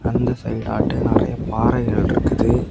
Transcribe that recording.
அந்த சைடு ஆற்று நெறய பாறைகள் இருக்குது.